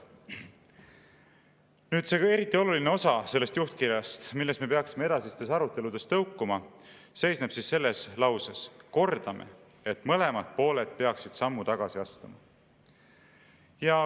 " See eriti oluline osa sellest juhtkirjast, millest me peaksime edasistes aruteludes tõukuma, seisneb selles lauses: "Kordame, et mõlemad pooled peaksid sammu tagasi astuma.